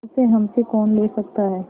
उसे हमसे कौन ले सकता है